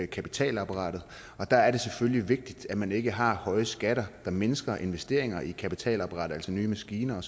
kapitalapparatet og der er det selvfølgelig vigtigt at man ikke har høje skatter der mindsker investeringer i kapitalapparatet altså nye maskiner